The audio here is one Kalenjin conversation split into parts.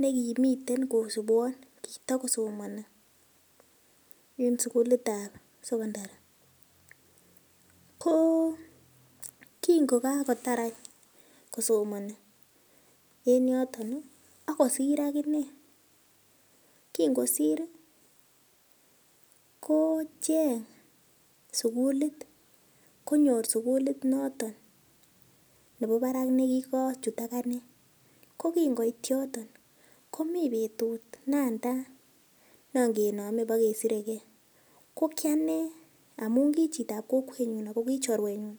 negimiten kosubwon kitagosomoni en sugulit ab sokondari, ko kingokakotar any kosomoni en yoton ii ak kosir aginee, kingosir ii kocheng' sugulit konyor sugulit noton nebo barak negikochut aganee, ko kingoit yoton ii komi betut natai nongenome ibogesiregei, ko kianee amun kichitab kokwenyun kokichorwenyun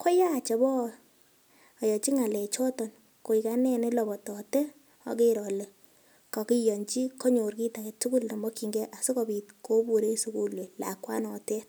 koyach oboyochi ng'alechoton koil anee nelobotote oger ole kogiyonyi, kanyor kit agetugul nemokyingen asikobit kobur en sugul lakwanotet.